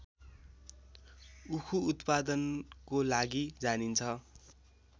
उखु उत्पादनको लागि जानिन्छ